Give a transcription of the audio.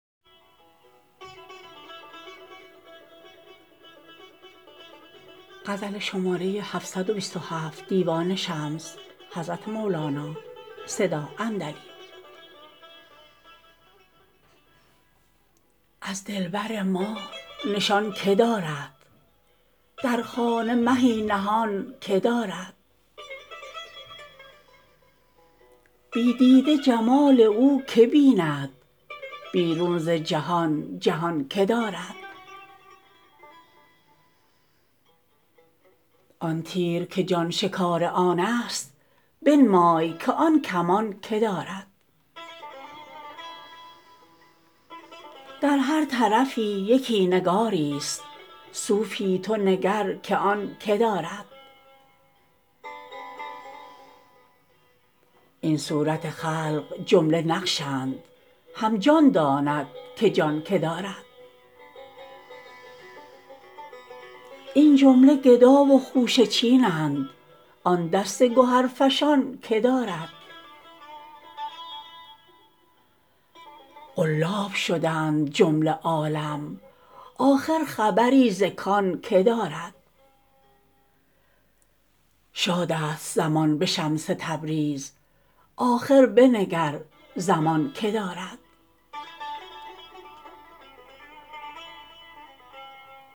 از دلبر ما نشان کی دارد در خانه مهی نهان کی دارد بی دیده جمال او کی بیند بیرون ز جهان جهان کی دارد آن تیر که جان شکار آنست بنمای که آن کمان کی دارد در هر طرفی یکی نگاریست صوفی تو نگر که آن کی دارد این صورت خلق جمله نقش اند هم جان داند که جان کی دارد این جمله گدا و خوشه چین اند آن دست گهرفشان کی دارد قلاب شدند جمله عالم آخر خبری ز کان کی دارد شادست زمان به شمس تبریز آخر بنگر زمان کی دارد